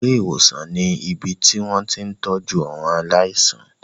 Ilé-ìwòsàn ni ibi tí wọ́n ti ń tọ́jú àwọn aláìsàn.